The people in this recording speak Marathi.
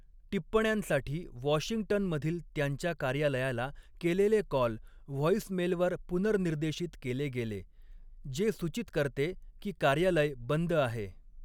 टिप्पण्यांसाठी वॉशिंग्टनमधील त्यांच्या कार्यालयाला केलेले कॉल व्हॉइसमेलवर पुनर्निर्देशित केले गेले, जे सूचित करते की 'कार्यालय बंद आहे'.